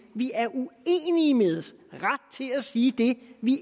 vi er uenige med til at sige det vi